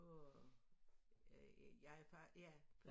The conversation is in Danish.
På øh jeg er fra ja